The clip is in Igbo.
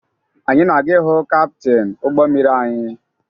Anyị na-aga ịhụ kaptịn ụgbọ mmiri anyị